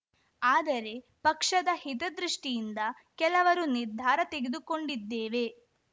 ಆದರೆ ಪಕ್ಷದ ಹಿತದೃಷ್ಟಿಯಿಂದ ಕೆಲವರು ನಿರ್ಧಾರ ತೆಗೆದುಕೊಂಡಿದ್ದೇವೆ